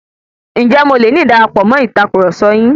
Ǹjé mo loni darapọ̀ mọ̀ Ìtàkurọ̀sọ yín?